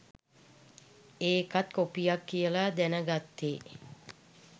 ඒකත් කොපියක් කියලා දැන ගත්තේ.